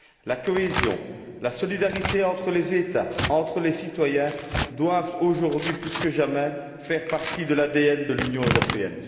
La cohésion, la solidarité entre les États et entre les citoyens doivent aujourd'hui plus que jamais faire partie de l'ADN de l'Union européenne.